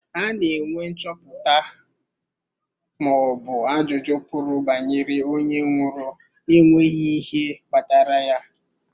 Ana enwe nchọpụta ma ọbụ ajụjụ pụrụ banyere onye nwụrụ na-enweghị ihe kpatara ya.